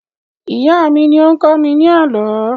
Ìyá mí ní ó ń kọ́ mi ní àlọ́